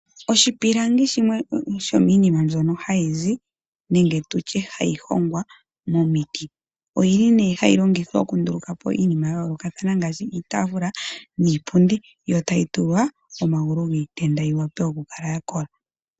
Oshipilangi shimwe shomiinima mbyono hayi zi nenge tu tye hayi hongwa momiti. Oyili nee hayi longwa okunduluka po iinima ya yoolokathana ngaashi iitaafula niipundi yo tayi tulwa omagulu giitenda yi vule oku kala ya kola.